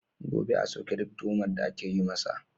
Gobe, a soke duk tuhumar da ake yi masa.